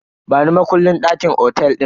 Bani makullin dakin otel din.